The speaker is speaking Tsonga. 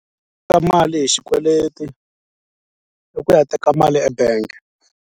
mali hi xikweleti i ku ya teka mali ebank.